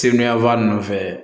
Sebi yafaa ninnu fɛ